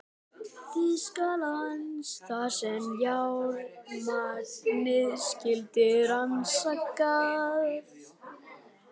Þýskalands, þar sem járnmagnið skyldi rannsakað.